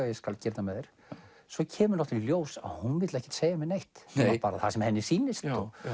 ég skal gera þetta með þér svo kemur í ljós að hún vill ekki segja mér neitt nema bara það sem henni sýnist